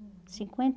Uhum. Cinquenta